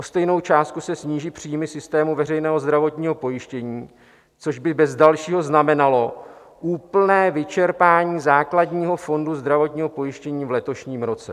O stejnou částku se sníží příjmy systému veřejného zdravotního pojištění, což by bez dalšího znamenalo úplné vyčerpání základního fondu zdravotního pojištění v letošním roce."